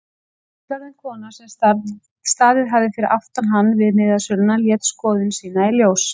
Fullorðin kona sem staðið hafði fyrir aftan hann við miðasöluna lét skoðun sína í ljós.